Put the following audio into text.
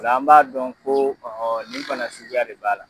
Ola an b'a dɔn ko ɔ nin bana suguya de b'a la.